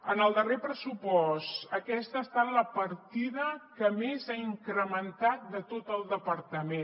en el darrer pressupost aquesta ha estat la partida que més ha incrementat de tot el departament